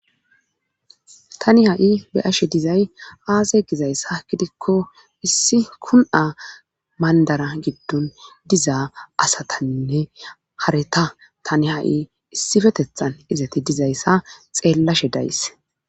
Tani ha7i be ashe dizay aaze gizayssa gidikko issi kun7a mandara giddon dizaa asatanne hareta tani ha7i issifetethan izati dizayssa xeellashe dayse.